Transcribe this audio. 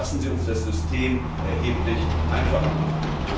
Union. Lassen Sie uns das System erheblich einfacher